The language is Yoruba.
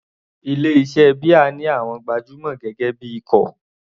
Ilé iṣẹ́ beer ní àwọn gbajúmọ̀ gẹ́gẹ́ bí ikọ̀.